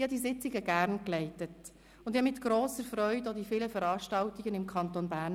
Ich leitete die Sitzungen gerne und besuchte mit grosser Freude die vielen Veranstaltungen im Kanton Bern.